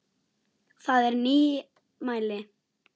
Það er nýmæli.